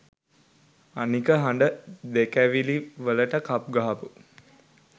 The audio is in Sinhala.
අනික හඬ දෙකැවි වලට කප් ගහපු